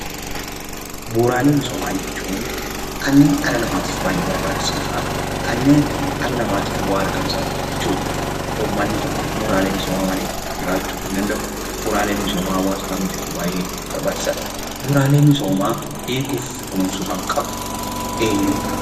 Bu'uuraalee misoomaa jechuun kanneen dhala namaaf barbaachisoo fi bu'aa argamsiisan jechuudha. Uummanni tokko bu'uuraalee misoomaa malee jiraachuu hin danda'u. Bu'uuraaleen misoomaa hawaasa kamiifuu barbaachisaadha.